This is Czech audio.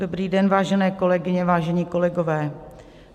Dobrý den, vážené kolegyně, vážení kolegové.